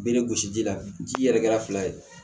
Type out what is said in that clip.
Bɛ ne gosi ji la ji yɛrɛ kɛra fila ye